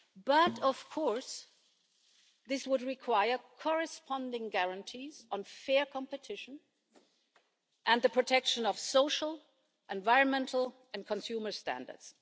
But of course, this would require corresponding guarantees on fair competition and the protection of social, environmental and consumer standards.